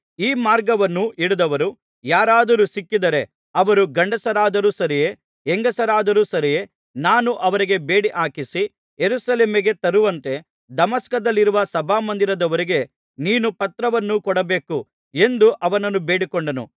ಈ ಮಾರ್ಗವನ್ನು ಹಿಡಿದವರು ಯಾರಾದರೂ ಸಿಕ್ಕಿದರೆ ಅವರು ಗಂಡಸರಾದರೂ ಸರಿಯೇ ಹೆಂಗಸರಾದರೂ ಸರಿಯೇ ನಾನು ಅವರಿಗೆ ಬೇಡಿಹಾಕಿಸಿ ಯೆರೂಸಲೇಮಿಗೆ ತರುವಂತೆ ದಮಸ್ಕದಲ್ಲಿರುವ ಸಭಾಮಂದಿರದವರಿಗೆ ನೀನು ಪತ್ರವನ್ನು ಕೊಡಬೇಕು ಎಂದು ಅವನನ್ನು ಬೇಡಿಕೊಂಡನು